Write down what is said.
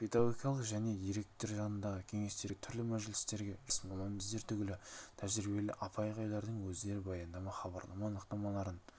не деген пәлсапалық тұжырым не деген философия қаншама мұғалімдер биік белестерді бағындырды міне соның барлығы ағайдың